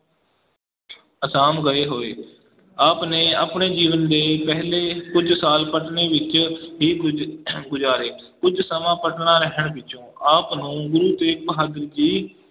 ਆਸਾਮ ਗਏ ਹੋਏ, ਆਪ ਨੇ ਆਪਣੇ ਜੀਵਨ ਦੇ ਪਹਿਲੇ ਕੁੱਝ ਸਾਲ ਪਟਨੇ ਵਿੱਚ ਹੀ ਗੁਜ~ ਗੁਜਾਰੇ ਕੁੱਝ ਸਮਾਂ ਪਟਨਾ ਰਹਿਣ ਪਿੱਛੋਂ ਆਪ ਨੂੰ ਗੁਰੂ ਤੇਗ ਬਹਾਦਰ ਜੀ